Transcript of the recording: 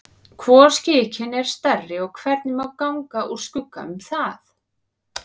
Hvor skikinn er stærri og hvernig má ganga úr skugga um það?